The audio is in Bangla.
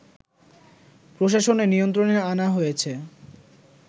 প্রশাসনের নিয়ন্ত্রণে আনা হয়েছে